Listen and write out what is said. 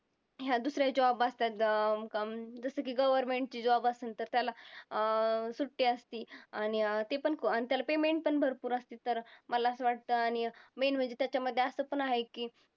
ह्या दुसऱ्या job असतात जसं की government ची job असन तर त्याला अं सुट्टी असते. आणि अं ते पण त्याला payment पण भरपूर असते तर मला असं वाटतं आणि main म्हणजे त्याच्यामध्ये असं पण आहे की